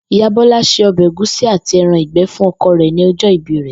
Ìyá Bó̩lá se o̩bè̩ ègúsí àti e̩ran ìgbé̩ fún o̩ko̩ rè̩ ní o̩jó̩ ìbí rè̩